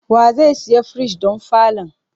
Wa zai siya firij don falon?